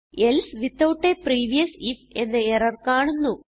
else without a previous if എന്ന error കാണുന്നു